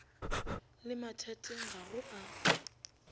le mathateng ga go a